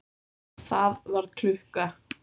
Það var klukka.